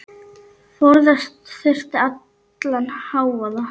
Forðast þurfti allan hávaða.